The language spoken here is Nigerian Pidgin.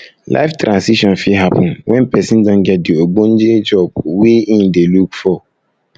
life transition fit happen when person don get di ogbonge job wey im dey look look for um